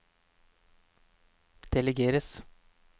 delegeres